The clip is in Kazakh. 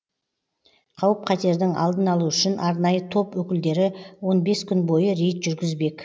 қауіп қатердің алдын алу үшін арнайы топ өкілдері он бес күн бойы рейд жүргізбек